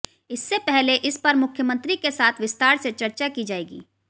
इससे पहले इस पर मुख्यमंत्री के साथ विस्तार से चर्चा की जाएगी